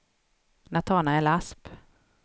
Natanael Asp